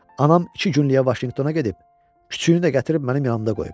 Anam iki günlük Vaşinqtona gedib, küçüyünü də gətirib mənim yanımda qoyub.